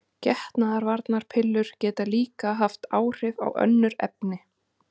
Getnaðarvarnarpillur geta líka haft áhrif á önnur efni.